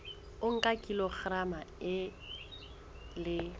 o nka kilograma e le